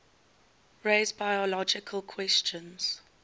raise biological questions